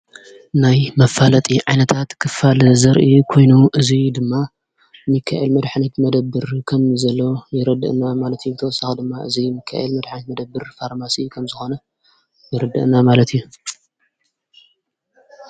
ናይ መፋለጢ ዓይነታት ኽፋል ዘርኢ ኮይኑ እዙይ ድማ ሚካኤል መድኅነት መደብር ከም ዘሎ የረድእ ና ማለት እዩ ተወሳኻ ድማ እዙይ ምካኤል መድኃኒት መደብር ፋርማሲ ከም ዝኾነ ይርድአ ና ማለት እዩ።